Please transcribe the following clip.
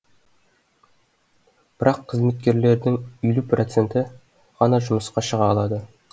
бірақ қызметкерлердің елу проценті ғана жұмысқа шыға алады